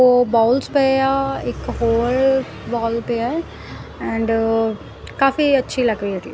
ਓਹ ਬਾਉਲਸ ਪਏ ਆ ਇੱਕ ਹੋਲ ਵਹੋਲ ਪਿਆ ਹੈ ਐਂਡ ਕਾਫੀ ਅੱਛੀ ਲੱਗ ਰਹੀ ਹੈ ਜੀ।